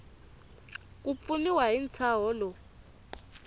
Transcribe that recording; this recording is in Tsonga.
ku pfuniwa hi ntshaho lowu